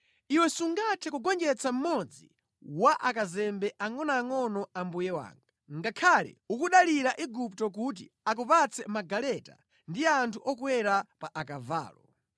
Iwe ungathe bwanji kugonjetsa ngakhale mmodzi mwa akazembe angʼonoangʼono a mbuye wanga, pamene ukudalira Igupto kuti akupatse magaleta ndi anthu okwera pa akavalo.